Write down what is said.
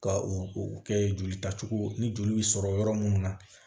Ka u u kɛ jolita cogo ni joli sɔrɔ yɔrɔ minnu na